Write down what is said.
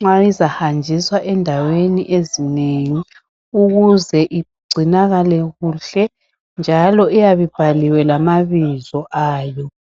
nxa izahanjiswa ezindaweni ezinengi ukuze igcinakale kuhle njalo iyabe ibhaliwe lamabizo ayo.